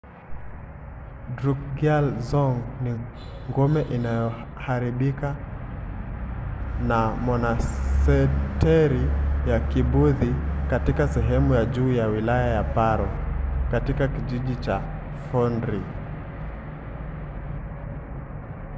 drukgyal dzong ni ngome iliyoharibika na monasteri ya kibudhi katika sehemu ya juu ya wilaya ya paro katika kijiji cha phondrey